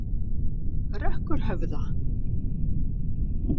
Rökkurhöfða